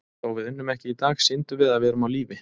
Þó við unnum ekki í dag, sýndum við að við erum á lífi.